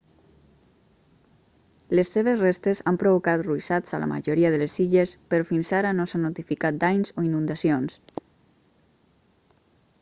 les seves restes han provocat ruixats a la majoria de les illes però fins ara no s'ha notificat danys o inundacions